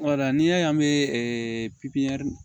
Wala n'i y'a ye an bɛ pipiniyɛri